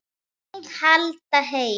Haldið heim